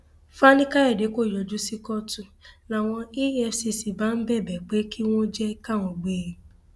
fanikàyọdé kò yọjú sí kóòtù làwọn efcc bá ń bẹbẹ pé kí wọn jẹ káwọn gbé e